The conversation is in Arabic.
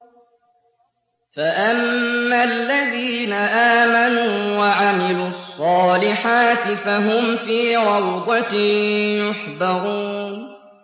فَأَمَّا الَّذِينَ آمَنُوا وَعَمِلُوا الصَّالِحَاتِ فَهُمْ فِي رَوْضَةٍ يُحْبَرُونَ